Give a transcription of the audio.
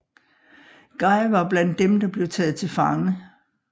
Guy var blandt dem der blev taget til fange